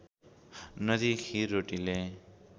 नदिई खिर रोटीले